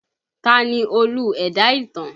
Ta ni Olú ẹ̀dá ìtàn?